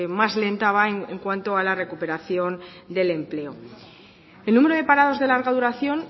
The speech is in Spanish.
más lenta va en cuanto a la recuperación del empleo el número de parados de larga duración